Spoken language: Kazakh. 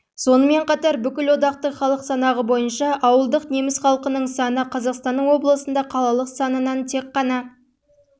сонымен қатар бүкілодақтық халық санағы бойынша ауылдық неміс халқының саны қазақстанның облысында қалалық санынан тек қана